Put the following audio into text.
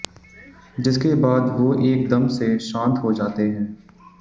जिसके बाद वो एक दम से शांत हो जाते हैं